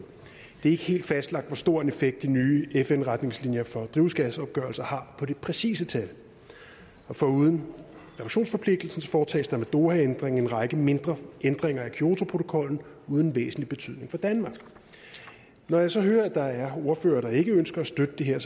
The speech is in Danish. er ikke helt fastlagt hvor stor en effekt de nye fn retningslinjer for drivhusgasopgørelser har på det præcise tal foruden reduktionsforpligtelsen foretages der med dohaændringen en række mindre ændringer af kyotoprotokollen uden væsentlig betydning for danmark når jeg så hører at der er ordførere der ikke ønsker at støtte det her